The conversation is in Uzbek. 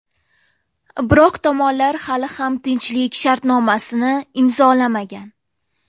Biroq tomonlar hali ham tinchlik shartnomasini imzolamagan.